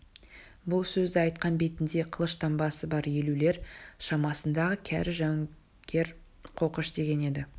бұл сөзді айтқан бетінде қылыш таңбасы бар елулер шамасындағы кәрі жауынгер қоқыш деген еді